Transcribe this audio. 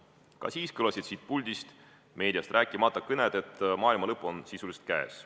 Ka siis kõlasid siit puldist – meediast rääkimata – kõned, et maailma lõpp on sisuliselt käes.